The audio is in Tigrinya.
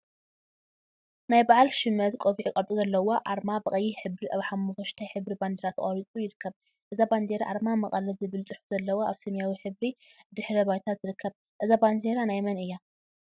ናይ በዓል ሽመት ቆቢዕ ቅርፂ ዘለዋ አርማ ብቀይሕ ሕብሪ አብ ሓመኩሽታይ ሕብሪ ባንዴራ ተቀሪፁ ይርከብ፡፡ እዛ ባንዴራ አርማ መቀለ ዝብል ፅሑፍ ዘለዋ አብ ሰማያዊ ሕብሪ ድሕረ ባይታ ትርከብ፡፡ እዛ ባንዴራ ናይ መን እያ?